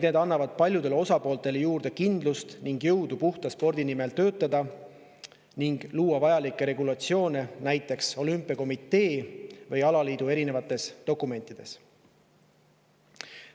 Need annavad paljudele osapooltele juurde kindlust ning jõudu puhta spordi nimel töötada ning luua vajalikke regulatsioone olümpiakomitee ja alaliitude erinevates dokumentides.